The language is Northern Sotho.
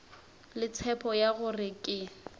le tshepo ya gore ke